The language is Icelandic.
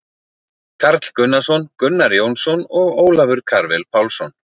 Karl Gunnarsson, Gunnar Jónsson og Ólafur Karvel Pálsson.